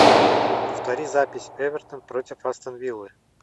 повтори запись эвертон против астон виллы